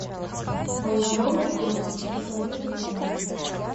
моя мама против посоветуй мне